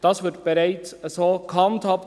Das wird bereits so gehandhabt.